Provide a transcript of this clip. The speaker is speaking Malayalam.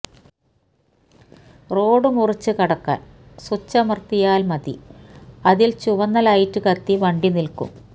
റോഡ് മുറിച്ചുകടക്കാന് സ്വിച്ചമര്ത്തിയാല് മതി അതില് ചുവന്ന ലൈറ്റ് കത്തി വണ്ടി നില്ക്കും